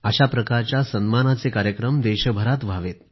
अशा सन्मानाचे कार्यक्रम देशभरात व्हावे